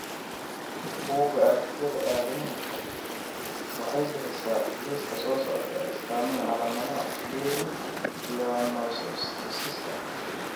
Buugga Aragtiyaha Aadanahawaxay bixisaa liiska soo socda ee astamaha iyo calaamadaha Leri pleonosteosiska.